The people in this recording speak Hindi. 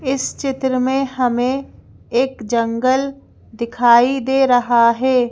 इस चित्र में हमें एक जंगल दिखाई दे रहा है।